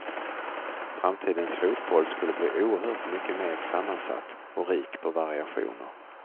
Framtidens fotboll skulle bli oerhört mycket mer sammansatt och rik på variationer.